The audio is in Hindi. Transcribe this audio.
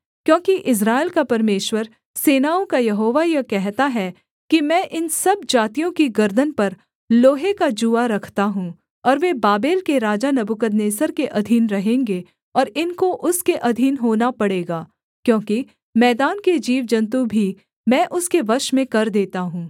क्योंकि इस्राएल का परमेश्वर सेनाओं का यहोवा यह कहता है कि मैं इन सब जातियों की गर्दन पर लोहे का जूआ रखता हूँ और वे बाबेल के राजा नबूकदनेस्सर के अधीन रहेंगे और इनको उसके अधीन होना पड़ेगा क्योंकि मैदान के जीवजन्तु भी मैं उसके वश में कर देता हूँ